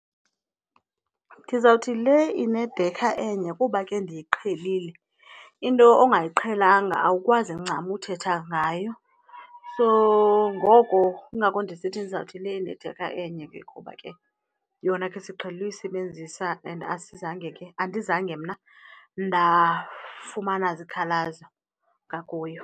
Ndizawuthi le inedekha enye kuba ke ndiyiqhelile, into ongayiqhelanga awukwazi ncam uthetha ngayo. So ngoko kungako ndisithi ndizawuthi le inedekha enye ke kuba ke yona ke siqhele uyisebenzisa and asizange ke, andizange mna ndafumana zikhalazo ngakuyo.